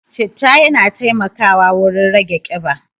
Citta yana taimakawa wurin rage ƙiba.